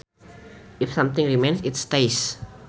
If something remains it stays